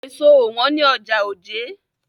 Èso ò wọ́n ní ọjà Ojé.